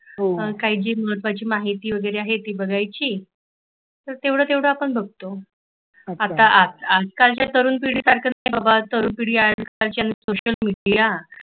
काय ती महत्वाची माहिती वगैरै आहे ती बघायची तर तेवढ तेवढ आपण बगतो आता आजकालच्या तरुण पिढीसारख काय बाबा तरुण पिढी सोशल मेडिया